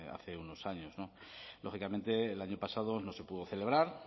hace unos años lógicamente el año pasado no se pudo celebrar